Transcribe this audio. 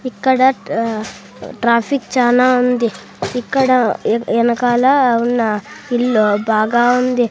ఇక్కడ ట్ర ట్రాఫిక్ చానా ఉంది ఇక్కడ యా యానకాల ఉన్న ఇల్లు బాగా ఉంది.